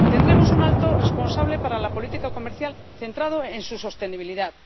Tendremos un alto responsable para la política comercial centrado en su sostenibilidad.